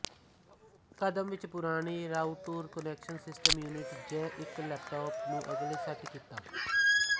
ਕਦਮ ਵਿੱਚ ਪੁਰਾਣੇ ਰਾਊਟਰ ਕੁਨੈਕਸ਼ਨ ਸਿਸਟਮ ਯੂਨਿਟ ਜ ਇੱਕ ਲੈਪਟਾਪ ਨੂੰ ਅਗਲੇ ਸੈੱਟ ਕੀਤਾ